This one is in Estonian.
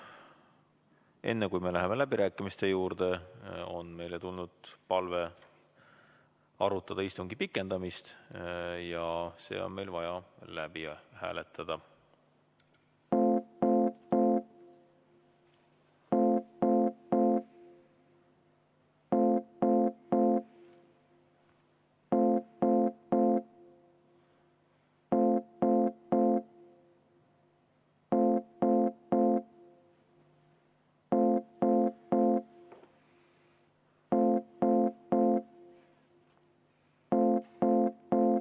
Enne kui me läheme läbirääkimiste juurde, on meile tulnud palve arutada istungi pikendamist ja see on meil vaja läbi hääletada.